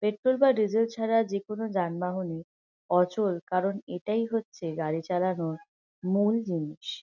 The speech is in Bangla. পেট্রোল বা ডিজেল ছাড়া যে কোন যানবাহনই অচল। কারণ এটাই হচ্ছে গাড়ি চালানোর মূল জিনিস।